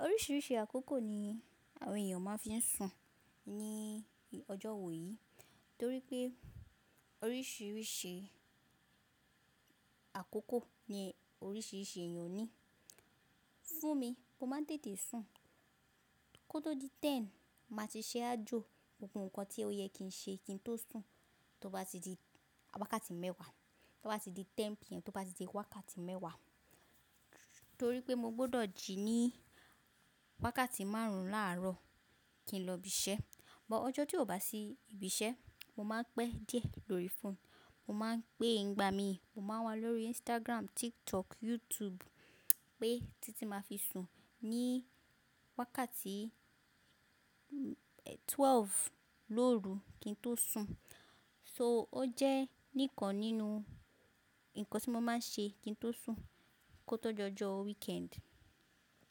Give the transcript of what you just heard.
Oríṣiríṣi àkókò ni àwọn ènìyàn máa ń fi ń sùn ní ọjọ́ wò yí torí pé oríṣiríṣi àkókò ni oríṣiríṣi ènìyàn ní. Fún mi, mo máa ń tètè sùn kó tó di ten, màá ti ṣẹ́ ajo. Gbogbo nǹkan tí ó yẹ kí n ṣe kí n tó sùn, tó bá ti di wákàtí mẹ́wàá, tó bá ti di ten pm, tó bá ti di wákàtí mẹ́wàá torí pé mo gbọ́dọ̀ jì ní wákàtí márùn-ún láàárọ̀ kí n lọ ibi iṣẹ́. But ọjọ́ tí ò bá sí ibi iṣẹ́, mo máa ń pẹ́ díẹ̀ lórí fóònù, mo máa ń gbé ń gba mi, mo máa wà lórí Instagram, TikTok, YouTube pé títí tí màá fi sùn ní wákàtí twelve lóru kí n tó sùn. So ó jẹ́ nìkan nínú nǹkan tí mo máa ń ṣe kí n tó sùn kó tó jọjọ weekend.